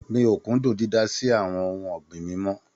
Mi ò kúndùn dídá sí àwọn ohun ọ̀gbìn mi mọ́.